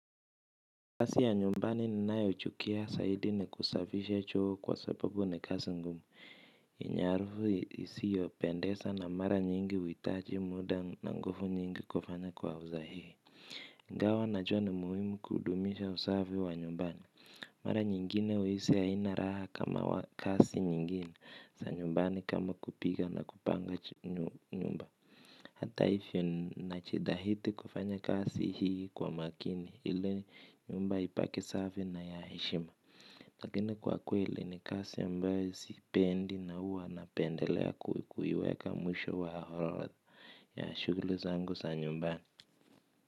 Kazi ya nyumbani ninayochukia zaidi ni kusafisha choo kwa sababu na kazi ngumu. Ina harufu isiyopendeza na mara nyingi huitaji muda na nguvu nyingi kufanya kwa usahihi. Ingawa najua ni muhimu kudumisha usafi wa nyumbani. Mara nyingine uhisi aina raha kama kazi nyingine za nyumbani kama kupika na kupanga nyumba. Hata hivyo najitahidi kufanya kazi hii kwa makini ili nyumba ibaki safi na ya heshima. Lakini kwa kweli ni kazi ambayo siipendi na huwa napendelea kuiweka mwisho wa orodha ya shughuli zangu sa nyumbani.